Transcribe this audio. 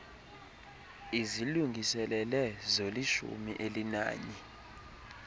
izilungiselele zolishumi elinanye